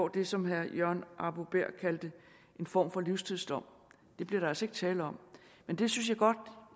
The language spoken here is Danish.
det som herre jørgen arbo bæhr kaldte en form for livstidsdom det bliver der altså ikke tale om men det synes jeg godt